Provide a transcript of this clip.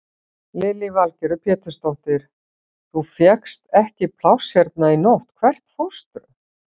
Lillý Valgerður Pétursdóttir: Þú fékkst ekki pláss hérna í nótt, hvert fórstu?